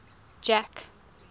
jack